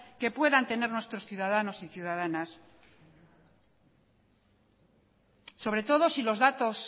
que puedan tener nuestros ciudadanos y ciudadanas sobre todo si los datos